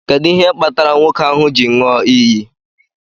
Kedu ihe kpatara nwoke ahu ji nyụọ iyi?